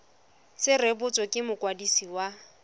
se rebotswe ke mokwadisi wa